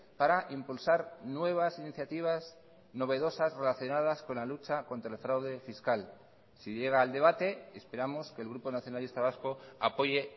para impulsar nuevas iniciativas novedosas relacionadas con la lucha contra el fraude fiscal si llega al debate esperamos que el grupo nacionalista vasco apoye